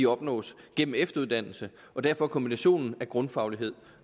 opnås gennem efteruddannelse derfor kombinationen af grundfaglighed